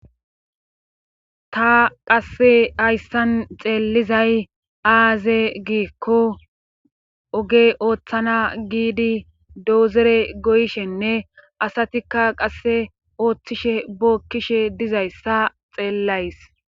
ta qasse hayssan xeelizay aaze giikko oge ooththana giidi doozere goyishenne asatikka qasse ooththishe bookkishe dizayssa xeellays